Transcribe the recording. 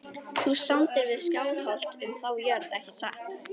Þú samdir við Skálholt um þá jörð ekki satt?